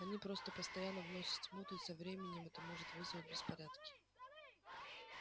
они просто постоянно вносят смуту и со временем это может вызвать беспорядки